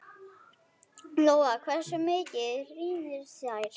Lóa: Hversu mikið rýrna þær?